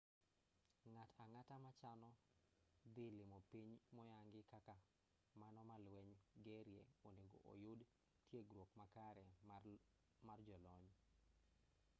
ng'at ang'ata ma chano dhi limo piny moyangi kaka mano ma lweny gerie onego oyud tiegruok makare mar jolony